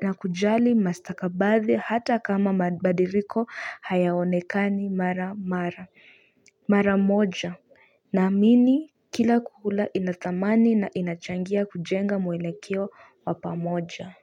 na kujali mastakabadhi Hata kama madiriko hayaonekani mara moja Naamini kila kuhula ina thamani na inachangia kujenga mwelekeo wa pamoja.